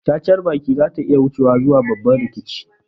Cacar baki zata iya wucewa zuwa babban rikici